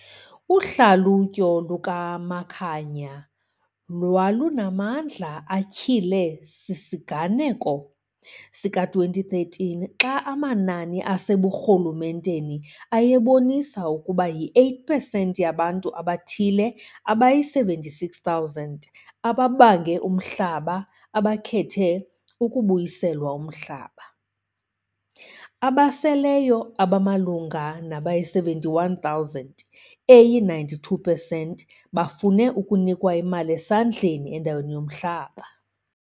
Uhlalutyo lukaMakhanya lwalunamandla atyhilwe sisiganeko sika-2013, xa amanani aseburhulumenteni ayebonisa ukuba yi-8 pesenti yabantu abathile abayi-76 000 ababange umhlaba abakhethe ukubuyiselwa umhlaba. Abaseleyo abamalunga nabayi-71 000, eyi-92 pesenti, bafune ukunikwa imali esesandleni endaweni yomhlaba.